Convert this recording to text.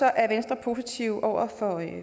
er venstre positive over